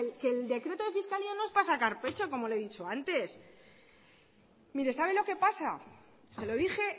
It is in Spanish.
que el decreto de fiscalía no es para sacar pecho como le he dicho antes mire sabe lo que pasa se lo dije